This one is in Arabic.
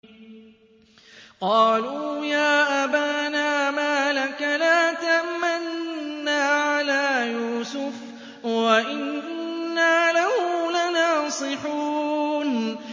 قَالُوا يَا أَبَانَا مَا لَكَ لَا تَأْمَنَّا عَلَىٰ يُوسُفَ وَإِنَّا لَهُ لَنَاصِحُونَ